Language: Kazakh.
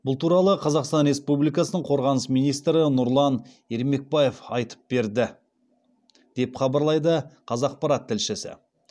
бұл туралы қазақстан республикасының қорғаныс министрі нұрлан ермекбаев айып берді деп хабарлайды қазақпарат тілшісі